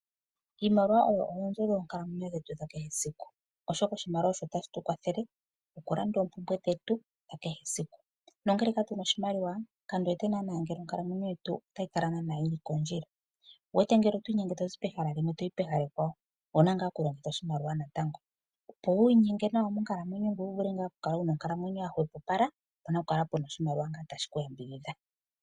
Iimaliwa oyo oonzo dhetu dhonkalamwenyo yetu ya kehe esiku oshoka oshimaliwa osho tashi tukwathele okulanda oompumbwe dhetu dha kehe esiku nongele katuna oshimaliwa kandiwete naana ngele onkalamwenyo yetu otayi kala yili kondjila . Ngele oto inyenge tozi pehala limwe toyi pehala ekwawo owuna ngaa okulongitha oshimaliwa kehe ethimbo. Opo wi inyenge monkalamwenyo ngoye wuvule okukala wuna onkalamwenyo ya hwepopala opuna okukala oshimaliwa shono tashi ku yambidhidha.